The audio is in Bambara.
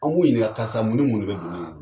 An b'u ɲininka karisa mun ni mun de be doni in ŋɔ